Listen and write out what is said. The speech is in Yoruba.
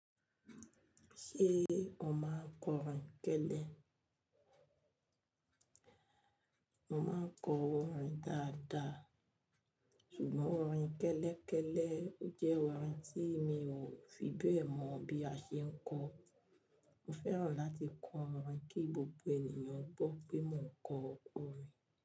Ṣé o máa ń kọ orin kẹ́lẹ́? Mo máa ń kọ orin dáadáa, ṣùgbọ́n orin kẹ́lẹ́kẹ́lẹ́ jẹ́ orin tí mi ò fi bẹ́ẹ̀ mọ bí a ṣe ń kọ. Mo fẹ́ràn láti kọ orin kí gbogbo ènìyàn gbonpé mò ń kọ orin.